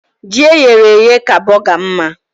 Ji eyere èyé ka bọgar mma